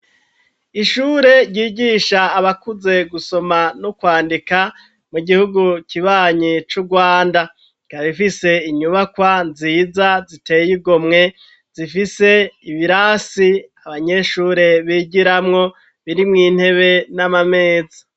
Ishure ryigisha abakuze gusoma no kwandika mu gihugu kibanyi c'Urwanda. Ikaba ifise inyubakwa nziza ziteye igomwe, zifise ibirasi abanyeshure bigiramwo birimwo intebe n'amameza.